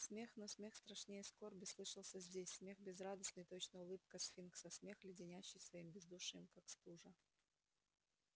смех но смех страшнее скорби слышался здесь смех безрадостный точно улыбка сфинкса смех леденящий своим бездушием как стужа